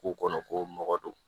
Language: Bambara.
K'u kɔnɔ ko mɔgɔ don